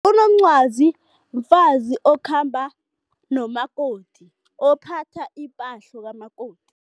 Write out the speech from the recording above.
Unomncwazi mfazi okhamba nomakoti, ophatha ipahlo kamakoti.